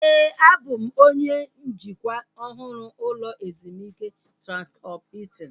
Éè, a bụ m onye njikwa ọhụrụ ụlọ ezumike Transkọp Hiltin